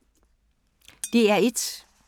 DR1